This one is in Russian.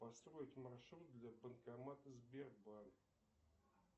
построить маршрут до банкомата сбербанк